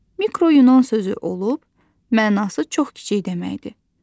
Mikro Yunan sözü olub, mənası çox kiçik deməkdir.